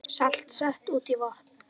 Salt sett út í vatn